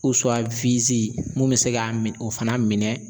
mun be se ka min o fana minɛ.